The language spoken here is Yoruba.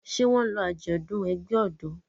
Ṣé wọn lọ àjọ̀dún ẹgbẹ́ ọ̀dọ́?